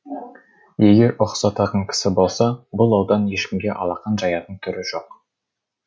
егер ұқсататын кісі болса бұл аудан ешкімге алақан жаятын түрі жоқ